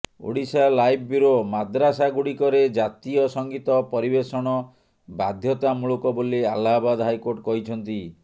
Odisha live bureau ମଦ୍ରାସାଗୁଡ଼ିକରେ ଜାତୀୟ ସଙ୍ଗୀତ ପରିବେଷଣ ବାଧ୍ୟତାମୂଳକ ବୋଲି ଆହ୍ଲାବାଦ ହାଇକୋର୍ଟ କହିଛନ୍ତି